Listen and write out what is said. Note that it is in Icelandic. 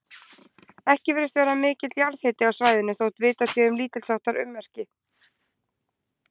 Ekki virðist vera mikill jarðhiti á svæðinu, þótt vitað sé um lítilsháttar ummerki.